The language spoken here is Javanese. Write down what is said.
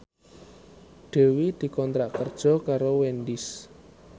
Dewi dikontrak kerja karo Wendys